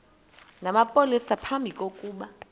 namapolisa phambi kokuba